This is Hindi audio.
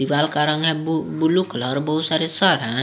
दीवाल का रंग है बु ब्लू कलर बहुत सारे सर है।